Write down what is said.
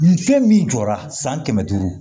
Nin fɛn min jɔra san kɛmɛ duuru